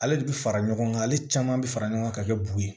Ale de bi fara ɲɔgɔn kan ale caman bi fara ɲɔgɔn ka kɛ bu ye